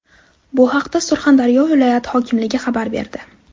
Bu haqda Surxondaryo viloyati hokimligi xabar berdi .